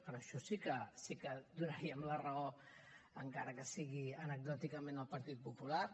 en això sí que donaríem la raó encara que sigui anecdòticament al partit popular